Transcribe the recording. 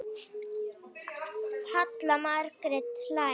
Halla Margrét hlær.